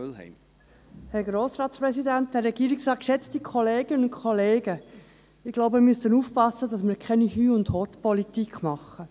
Ich glaube, wir müssen aufpassen, dass wir keine «Hüst und Hott»Politik machen.